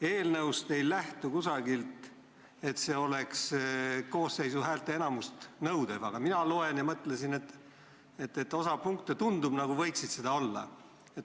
Eelnõust ei nähtu, et selle heakskiitmine nõuab koosseisu häälteenamust, aga ma lugesin seda ja mõtlesin, et osa punkte nagu võiks sellised olla.